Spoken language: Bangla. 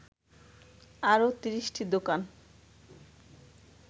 আরও ৩০টি দোকান